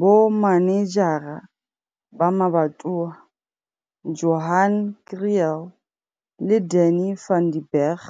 Bomanejara ba Mabatowa, Johan Kriel le Danie van den Berg